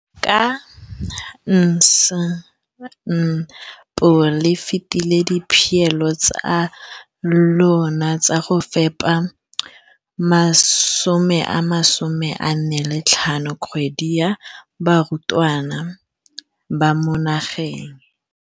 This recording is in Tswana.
Ka NSNP le fetile dipeelo tsa lona tsa go fepa masome a supa le botlhano a diperesente ya barutwana ba mo nageng.